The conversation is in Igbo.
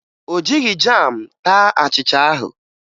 O jighi jam taa achịcha ahụ